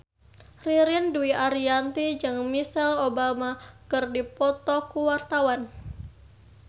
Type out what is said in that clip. Ririn Dwi Ariyanti jeung Michelle Obama keur dipoto ku wartawan